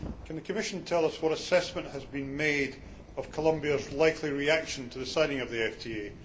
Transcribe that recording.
Can the Commission tell us what assessment has been made of Colombia's likely reaction to the signing of the FTA?